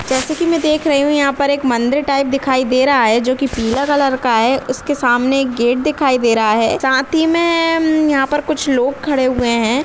जैसे कि मैं देख रही हूँ यहाँ पर एक मंदिर टाइप दिखाई दे रहा है जो कि पीला कलर का है उसके सामने एक गेट दिखाई दे रहा है साथ ही में येम यहाँ पर कुछ लोग खड़े हुए हैं।